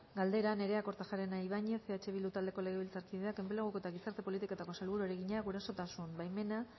galdera nerea kortajarena ibañez eh bildu taldeko legebiltzarkideak enpleguko eta gizarte politiketako sailburuari egina gurasotasun baimena